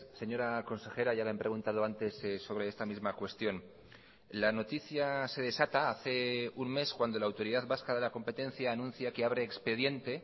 señora consejera ya le han preguntado antes sobre esta misma cuestión la noticia se desata hace un mes cuando la autoridad vasca de la competencia anuncia que abre expediente